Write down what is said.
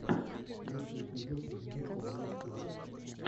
лучший эпизод зенит футболл клаб